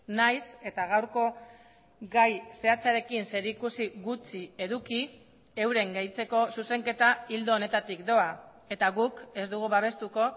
nahiz eta gaurko gai zehatzarekin zerikusi gutxi eduki euren gehitzeko zuzenketa ildo honetatik doa eta guk ez dugu babestuko